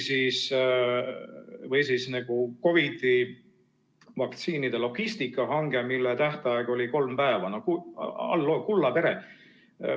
Või siis COVID‑i vaktsiinide logistikahange, mille tähtaeg oli kolm päeva – no hallo, tere!